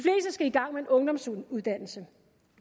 skal i gang med en ungdomsuddannelse